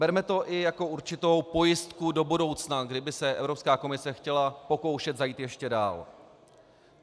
Berme to i jako určitou pojistku do budoucna, kdyby se Evropská komise chtěla pokoušet zajít ještě dál.